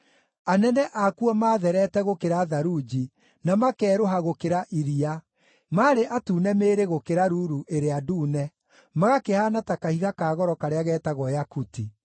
Anene akuo maatherete gũkĩra tharunji, na makeerũha gũkĩra iria, maarĩ atune mĩĩrĩ gũkĩra ruru ĩrĩa ndune, magakĩhaana ta kahiga ka goro karĩa getagwo yakuti.